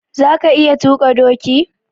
Za ka iya tuƙa doki?